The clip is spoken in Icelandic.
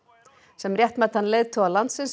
sem réttmætan leiðtoga landsins